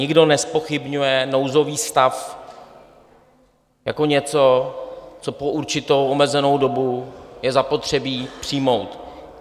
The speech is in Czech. Nikdo nezpochybňuje nouzový stav jako něco, co po určitou omezenou dobu je zapotřebí přijmout.